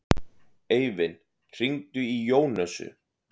Eivin, hringdu í Jónösu.